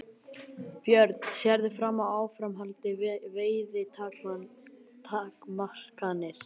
Björn: Sérðu fram á áframhaldandi veiðitakmarkanir?